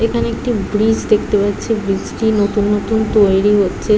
এখানে একটা ব্রিজ দেখতে পাচ্ছি ব্রিজ টি নতুন নতুন তৈরি হচ্ছে।